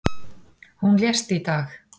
Hún lést í dag.